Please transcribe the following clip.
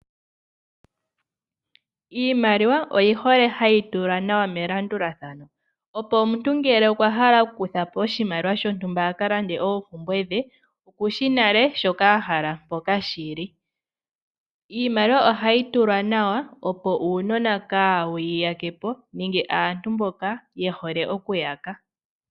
Iimaliwa oyihole oku tulwa nawa melandulathano , opo ngele omuntu okwahala okuka kuthapo oshimaliwa sho ntumba aka lande oompumbwe dhe, okushi nale shoka ahala naa mpoka shili. Iimaliwa ohayi tulwa nawa opo uunona kawu yi ya kepo nenge aantu mboka yehole oku yaka.